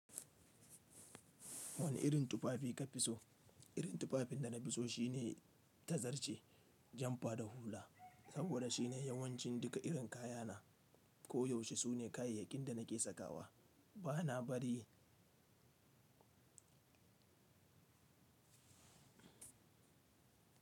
Wane irin tufafi ka fi so? Irin tufafin da na fi so shine ta zarce jamfa da hula, saboda shine yawancin duka irin kayana. Ko yaushe sune kayayyakin da nake sakawa. Ba na bari.